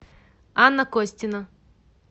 анна костина